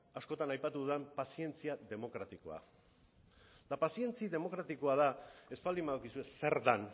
askotan aipatu dudan pazientzia demokratikoa eta pazientzia demokratikoa da ez baldin badakizue zer den